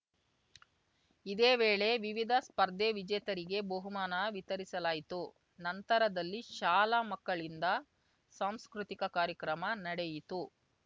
ಇದೇ ವೇಳೆ ವಿವಿಧ ಸ್ಪರ್ಧೆ ವಿಜೇತರಿಗೆ ಬಹುಮಾನ ವಿತರಿಸಲಾಯಿತು ನಂತರದಲ್ಲಿ ಶಾಲಾ ಮಕ್ಕಳಿಂದ ಸಾಂಸ್ಕೃತಿಕ ಕಾರ್ಯಕ್ರಮ ನಡೆಯಿತು